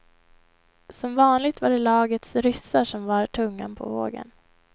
Som vanligt var det lagets ryssar som var tungan på vågen.